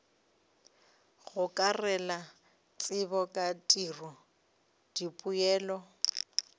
gokarela tsebo ka tiro dipoelo